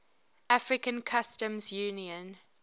african customs union